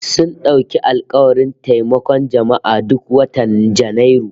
Sun dauki alkawarin taimakon jama'a duk watan Janairu